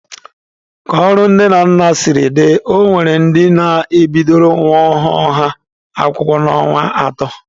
Ka ọrụ nne na nna siri dị, ọ nwere ndị na-ebidoro nwa ọhụrụ ha akwụkwọ n'ọnwa atọ.